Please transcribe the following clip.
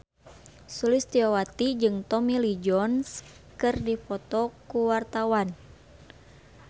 Sulistyowati jeung Tommy Lee Jones keur dipoto ku wartawan